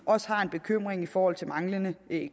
også har en bekymring i forhold til den manglende